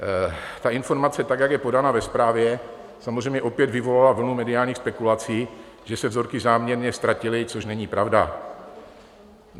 Ta informace tak, jak je podána ve zprávě, samozřejmě opět vyvolala vlnu mediálních spekulací, že se vzorky záměrně ztratily, což není pravda.